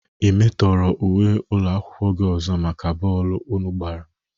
Ị metọrọ uwe ụlọakwụkwọ gị ọzọ maka bọọlụ unu gbara?